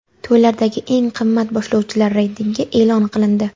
To‘ylardagi eng qimmat boshlovchilar reytingi e’lon qilindi.